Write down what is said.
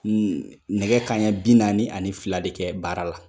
Nɛ nɛgɛ kanɲɛ bi naani ani fila de kɛ baara la.